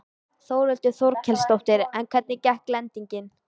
Þórhildur Þorkelsdóttir: En hvernig gekk lendingin?